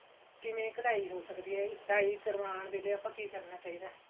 ਕਿਵੇਂ ਕਢਾਈ ਹੋ ਸਕਦੀ ਏ ਡਾਈ ਕਰਵਾਉਣ ਵੇਲੇ ਆਪਾਂ ਕਿ ਕਰਨਾ ਚਾਹਿਦਾ